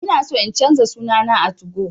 Ina so in canza suna na a 2go